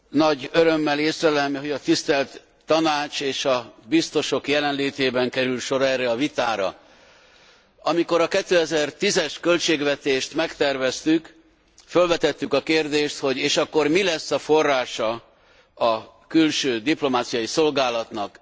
Nagy örömmel észlelem, hogy a tisztelt Tanács és a biztosok jelenlétében kerül sor erre a vitára. Amikor a 2010 es költségvetést megterveztük, fölvetettük a kérdést, hogy és akkor mi lesz a forrása a külső diplomáciai szolgálatnak?